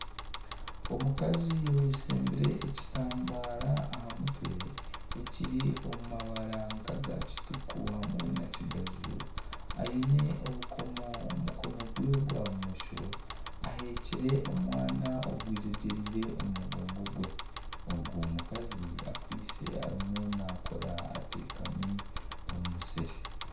Omukazi oyeshembire ekitambaara aha mutwe ekiri omu mabara nk'aga kituku hamwe na kigaju aine obukomo omu mukono gwe gwa bumosho aheekire omwana ogwejegyereire omu mugongo gwe. Ogwo mukazi akwaitse arimu naakora ateekami omu musiri.